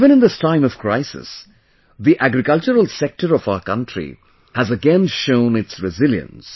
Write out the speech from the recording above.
Even in this time of crisis, the agricultural sector of our country has again shown its resilience